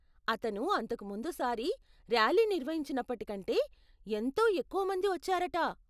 అతను అంతకు ముందు సారి ర్యాలీ నిర్వహించినప్పటికంటే, ఎంతో ఎక్కువమంది వచ్చారట.